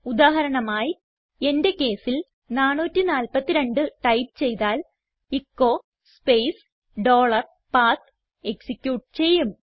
ഉദാഹരണമായി എന്റെ കേസിൽ 442ടൈപ്പ് ചെയ്താൽ എച്ചോ സ്പേസ് ഡോളർ പത്ത് എക്സിക്യൂട്ട് ചെയ്യും